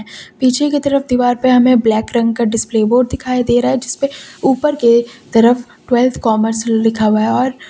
पीछे की तरफ दीवार पे हमें ब्लैक रंग का डिस्प्ले बोर्ड दिखाई दे रहा है जिसपे ऊपर के तरफ ट्वेल्थ कॉमर्स लिखा हुआ है और--